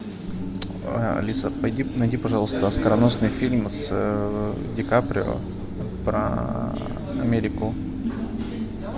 алиса найди пожалуйста оскароносный фильм с ди каприо про америку